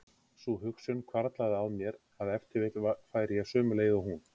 Sú hugsun hvarflaði að mér að ef til vill færi ég sömu leið og hún.